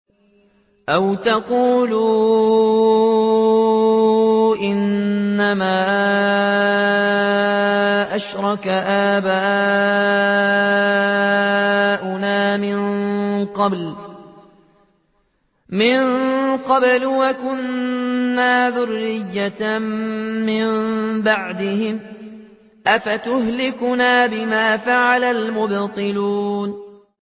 أَوْ تَقُولُوا إِنَّمَا أَشْرَكَ آبَاؤُنَا مِن قَبْلُ وَكُنَّا ذُرِّيَّةً مِّن بَعْدِهِمْ ۖ أَفَتُهْلِكُنَا بِمَا فَعَلَ الْمُبْطِلُونَ